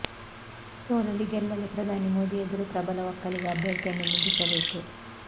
ಸೋಲಲಿ ಗೆಲ್ಲಲಿ ಪ್ರಧಾನಿ ಮೋದಿ ಎದುರು ಪ್ರಬಲ ಒಕ್ಕಲಿಗ ಅಭ್ಯರ್ಥಿಯನ್ನೇ ನಿಲ್ಲಿಸಬೇಕು